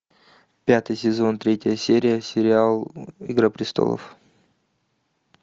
пятый сезон третья серия сериал игра престолов